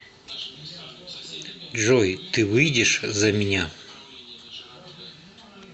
джой ты выйдешь за меня